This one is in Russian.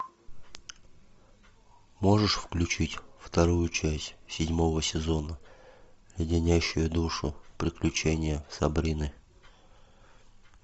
можешь включить вторую часть седьмого сезона леденящие душу приключения сабрины